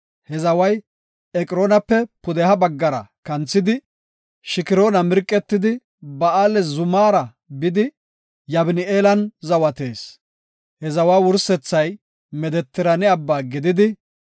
He zaway Eqroona pudeha baggara kanthidi, Shikroona mirqetidi, Baala zumaara bidi, Yabni7eelan zawatees. He zawa wursethay Medetiraane abba gididi,